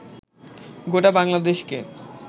গোটা বাংলাদেশকে